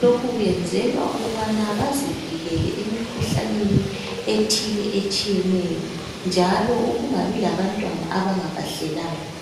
lokhu kwenzelwa ukubana bazivikele emikhuhlaneni ethile etshiyeneyo njalo ukungabi labantwana abangabahlelanga